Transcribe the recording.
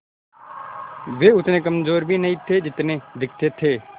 वे उतने कमज़ोर भी नहीं थे जितने दिखते थे